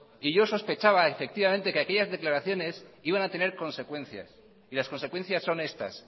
y yo sospechaba efectivamente que aquellas declaraciones iban a tener consecuencias y las consecuencias son estas